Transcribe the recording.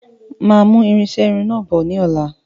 Máa mú irinṣẹ Irun náà bọ̀ ní ọ̀la